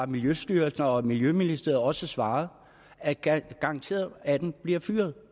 miljøstyrelsen og miljøministeriet har også svaret at det er garanteret at atten bliver fyret